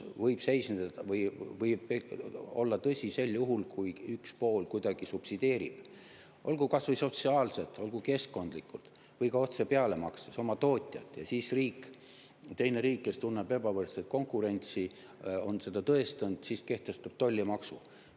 Tollide efektiivsus ja tasuvus võib olla tõsi sel juhul, kui üks pool kuidagi subsideerib, kas või sotsiaalselt, olgu keskkondlikult või ka otse peale makstes oma tootjat, ja siis teine riik, kes tunneb ebavõrdset konkurentsi ja on seda tõestanud, kehtestab tollimaksu.